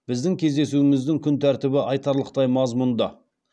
біздің кездесуіміздің күн тәртібі айтарлықтай мазмұнды